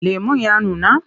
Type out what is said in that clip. Lemon ya nuna?